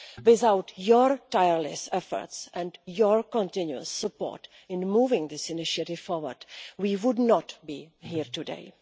Without your tireless efforts and your continuous support in moving this initiative forward, we would not be here today.